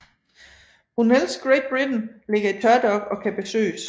Brunels Great Britain ligger i tørdok og kan besøges